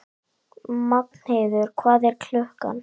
Magnheiður, hvað er klukkan?